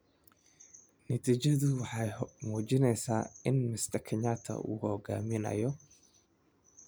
Natiijadu waxay muujinaysaa in Mr Kenyatta uu hogaaminayo.